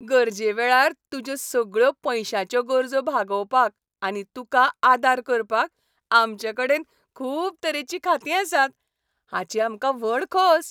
गरजेवेळार तुज्यो सगळ्यो पयश्यांचो गरजो भागोवपाक आनी तुका आदार करपाक आमचेकडेन खूब तरेचीं खातीं आसात, हाची आमकां व्हड खोस.